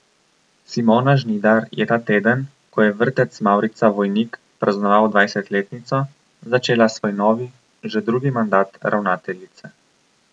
Simona Žnidar je ta teden, ko je Vrtec Mavrica Vojnik praznoval dvajsetletnico, začela svoj novi, že drugi mandat ravnateljice.